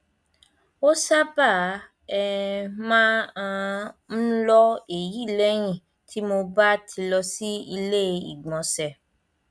bí um ẹni pé èèyàn ó fọwọ pa orí um kí ó sì tẹ sínú lẹyìn um àti lókè